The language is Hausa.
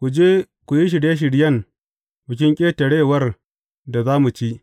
Ku je ku yi shirye shiryen Bikin Ƙetarewar da za mu ci.